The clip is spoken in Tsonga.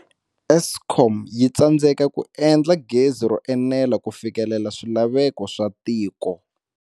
Eskom yi tsandzeka ku endla gezi ro enela ku fikelela swilaveko swa tiko.